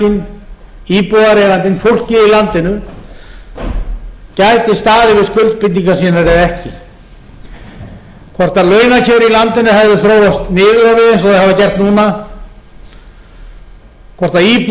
í landinu gæti staðið við skuldbindingar sínar eða ekki hvort launakjör í landinu hefðu þróast niður á við eins og þau hafa gert núna hvort